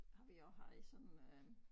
Har vi også haft sådan en øh